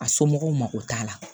A somɔgɔw mago t'a la